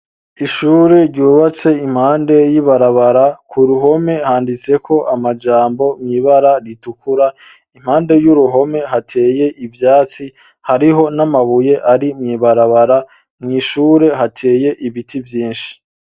Ishure ryubatse impande y'ibarabara ,ku ruhome handitse ko amajambo, mw' ibara ritukura ,impande y'uruhome hateye ivyatsi ,hariho n'amabuye ari mw' ibarabara, mw' ishure hateye ibiti vyishi.